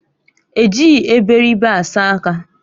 Ejighị eberibe asa aka